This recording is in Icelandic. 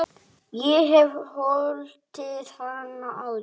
Ég hef hlotið hana áður.